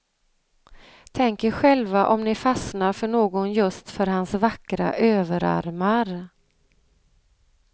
Tänk er själva om ni fastnar för någon just för hans vackra överarmar.